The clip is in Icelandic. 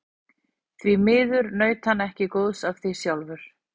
Því miður naut hann ekki góðs af því sjálfur.